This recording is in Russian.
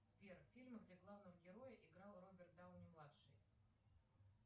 сбер фильмы где главного героя играл роберт дауни младший